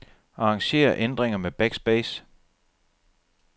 Arranger ændringer med backspace.